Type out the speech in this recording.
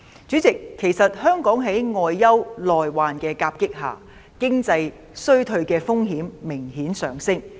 主席，香港在外憂內患的夾擊下，經濟衰退的風險明顯上升。